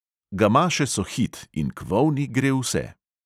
Gamaše so hit in k volni gre vse.